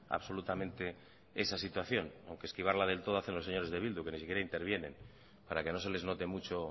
absolutamente esa situación aunque esquivarla del todo hacen los señores de bildu que ni siquiera intervienen para que no se les note mucho